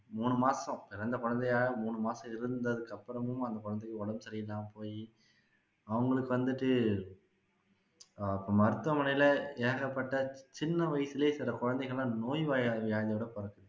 மூணு மாசம் பிறந்த குழந்தைய மூணு மாசம் இருந்ததுக்கு அப்பறமும் அந்த குழந்தைக்கு உடம்பு சரியில்லாம போயி அவங்களுக்கு வந்துட்டு இப்போ மருத்துவமனையில ஏகப்பட்ட சின்ன வயசுலையே சில குழந்தைங்க எல்லாம் நோய் வியாதியோட பொறக்குது